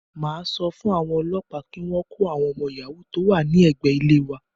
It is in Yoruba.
Màá sọ fún àwọn òlọ́pàá kí wọ́n kó àwọn ọmọ yàhóò tó wà ní ẹ̀gbé ilé wa.